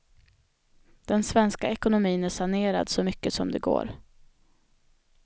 Den svenska ekonomin är sanerad så mycket som det går.